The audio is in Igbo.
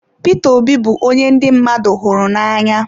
Peter Obi bụ onye ndị mmadụ hụrụ n'anya.